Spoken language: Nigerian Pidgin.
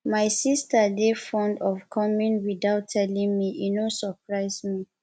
my sista dey fond of coming witout telling me e no surprise me